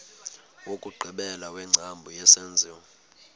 wokugqibela wengcambu yesenziwa